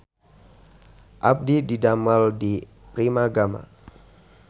Abdi didamel di Primagama